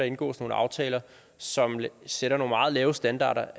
indgået nogle aftaler som sætter nogle meget lave standarder